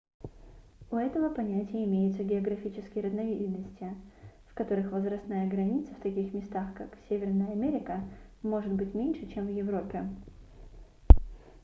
у этого понятия имеются географические разновидности в которых возрастная граница в таких местах как северная америка может быть меньше чем в европе